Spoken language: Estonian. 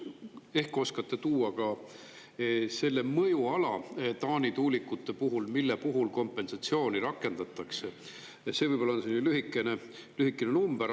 Ehk oskate tuua ka selle mõjuala Taani tuulikute puhul, mille puhul kompensatsiooni rakendatakse, ja see võib-olla on selline lühikene number.